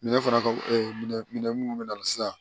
Minɛ fana ka minɛ minɛ minnu bɛ na sisan